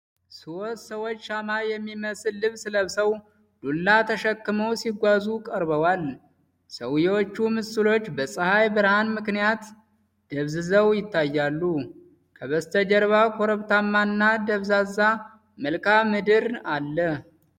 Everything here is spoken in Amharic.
ሶስት ሰዎች ሻማ የሚመስል ልብስ ለብሰው ዱላ ተሸክመው ሲጓዙ ቀርበዋል። የሰውዬቹ ምስሎች በፀሀይ ብርሃን ምክንያት ደብዝዘው ይታያሉ። ከበስተጀርባ ኮረብታማና ደብዛዛ መልክዓ ምድር አለ።